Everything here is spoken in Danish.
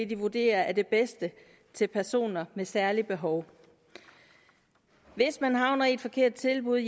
de vurderer er det bedste til personer med særlige behov hvis man havner i et forkert tilbud